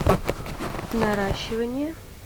наращивание